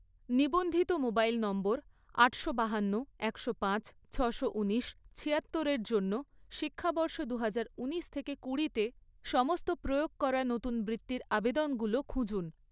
নিবন্ধিত মোবাইল নম্বর আটশো বাহান্ন, একশো পাঁচ, ছশো ঊনিশ, ছিয়াত্তর এর জন্য, শিক্ষাবর্ষ দুহাজার ঊনিশ থেকে কুড়ি তে সমস্ত প্রয়োগ করা নতুন বৃত্তির আবেদনগুলো খুঁজুন